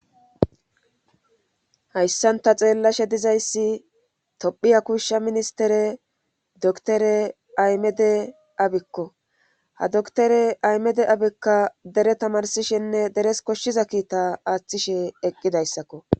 hayssanta xeellashe dizayssi tophiha kuushsha ministere doktore aymede abikko ha doktore aymede abikka dere tamarsishenne deres koshshiza kiita aaththishe eqqidayssakko